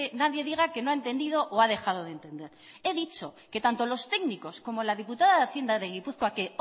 nadie diga que no ha entendido o ha dejado de entender he dicho que tanto los técnicos como la diputada de hacienda de gipuzkoa que